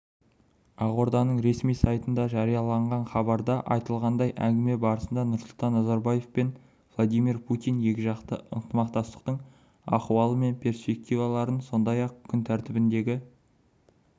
ақорданың ресми сайтында жарияланған хабарда айтылғандай әңгіме барысында нұрсұлтан назарбаев пен владимир путин екіжақты ынтымақтастықтың ахуалы мен перспективаларын сондай-ақ күн тәртібіндегі